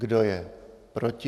Kdo je proti?